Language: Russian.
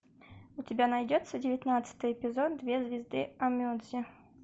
у тебя найдется девятнадцатый эпизод две звезды онмеджи